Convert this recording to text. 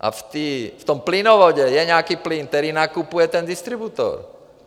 A v tom plynovodu je nějaký plyn, který nakupuje ten distributor.